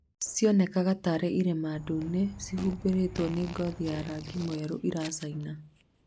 Cionekaga tarĩ irema ndune cihumbĩrĩtwo nĩ ngothi ya rangi mwerũ iracaina